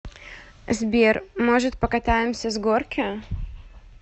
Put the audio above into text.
сбер может покатаемся с горки